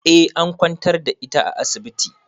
Eh an kwantar da ita a asibiti.